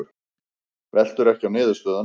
Veltur ekki á niðurstöðunum